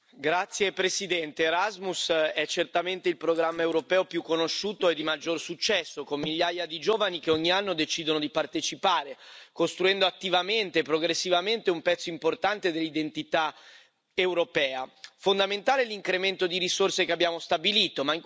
Signora Presidente, onorevoli colleghi, Erasmus è certamente il programma europeo più conosciuto e di maggior successo, con migliaia di giovani che ogni anno decidono di partecipare, costruendo attivamente e progressivamente un pezzo importante dell'identità europea. Fondamentale è l'incremento di risorse che abbiamo stabilito.